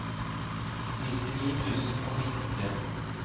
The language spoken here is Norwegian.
nittini tusen og nittitre